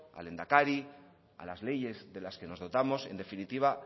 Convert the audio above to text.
al lehendakari a las leyes de las que nos dotamos en definitiva